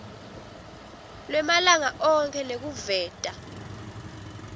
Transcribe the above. lwemalanga onkhe nekuveta